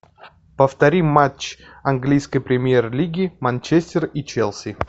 повтори матч английской премьер лиги манчестер и челси